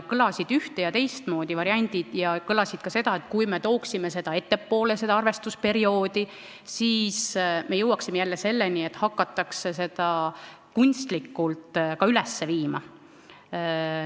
Kõlasid üht- ja teistmoodi variandid ning kõlas ka see, et kui me tooksime selle arvestusperioodi ettepoole, siis me jõuaksime jälle selleni, et hakatakse seda kunstlikult üles viima.